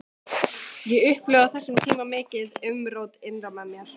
Ég upplifði á þessum tíma mikið umrót innra með mér.